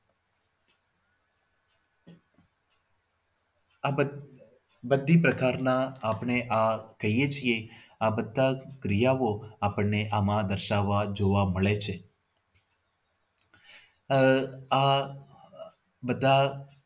આ બધા બધા પ્રકારની આપણે આહ જોઈએ છીએ આ બધા જ ક્રિયાઓ આપણને આમાં દર્શાવવા જોવા મળે છે આહ આ બધા